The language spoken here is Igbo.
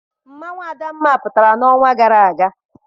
Mmanwụ adamma pụtara n'ọnwa gara aga.